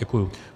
Děkuju.